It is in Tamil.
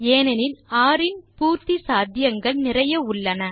ஏனெனில் ர் இன் பூர்த்தி சாத்தியங்கள் நிறைய உள்ளன